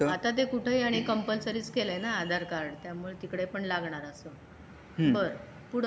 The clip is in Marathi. आता ते कुठे आणि कॉम्पलसोरी केलं ना आधार कार्ड त्यामुळे तिकडे पण लागणार असतं.बरं पुढं